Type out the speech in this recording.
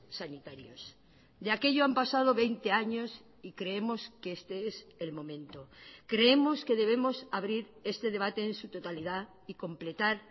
sanitarios de aquello han pasado veinte años y creemos que este es el momento creemos que debemos abrir este debate en su totalidad y completar